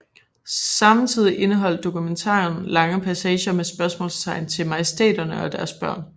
Samtidig indeholdt dokumentaren lange passager med spørgsmål til majestæterne og deres børn